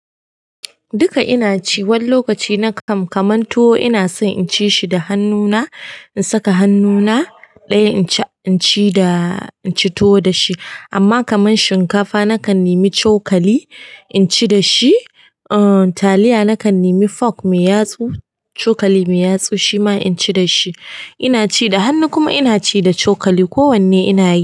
Duka ina ci. Wani lokaci na kan kamanto ina so in ci shi da hannuna, in saka hannuna ɗaya in ci tuwo da shi. Amma kamar shinkafa na kan nemi cokali in ci da shi. Taliya nakan nemi fork mai yatsu cokali mai yatsu shima inci dashi inaci da hannu kuma inaci da cokali ko wanne ina yi.